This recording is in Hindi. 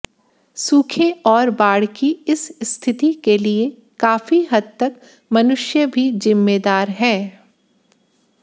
सूखे और बाढ़ की इस स्थिति के लिए काफी हद तक मनुष्य भी जिम्मेदार है